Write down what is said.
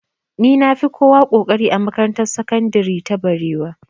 Ni na fi kowa ƙoƙari a makarantar sakandire ta barewa